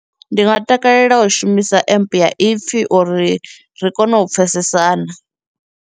Ndi nga takalela u shumisa empe ya ipfhi uri ri kone u pfhesesana.